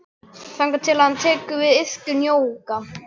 Þangað til að hann tekur til við iðkun jóga.